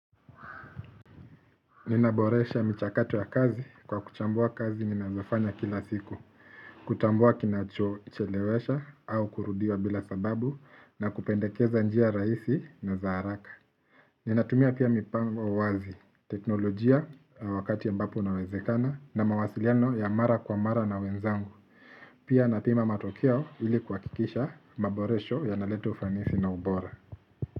Ninaboresha michakato ya kazi kwa kuchambua kazi ninazofanya kila siku, kutambua kinachochelewesha au kurudia bila sababu na kupendekeza njia rahisi na za haraka. Ninatumia kila mipango wazi, teknolojia wakati ambapo inawezekana na mawasiliano ya mara kwa mara na wenzangu. Pia napima matokeo ili kuhakikisha maboresho yanaleta ufanisi na ubora.